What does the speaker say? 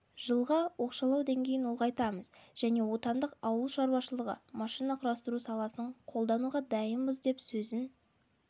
жылға оқшаулау деңгейін ұлғайтамыз және отандық ауыл шаруашылығы машина құрастыру саласын қолдануға дайынбыз деп сөзін